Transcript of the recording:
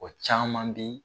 O caaman be